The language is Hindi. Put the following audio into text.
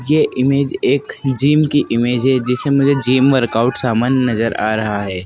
यह इमेज एक जिम की इमेज है जिसे मुझे जिम वर्कआउट समान नजर आ रहा है।